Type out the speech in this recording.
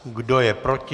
Kdo je proti?